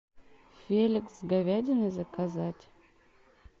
феликс с говядиной заказать